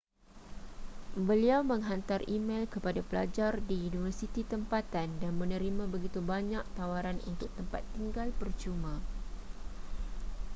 beliau menghantar e-mel kepada pelajar di universiti tempatan dan menerima begitu banyak tawaran untuk tempat tinggal percuma